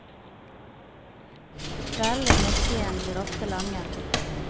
Kveldene i moskéen blir ofte lange.